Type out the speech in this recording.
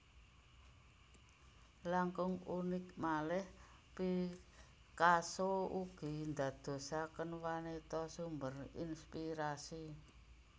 Langkung unik malih Picasso ugi ndadosaken wanita sumber inspirasi